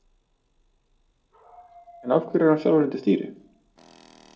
En af hverju er hann sjálfur undir stýri?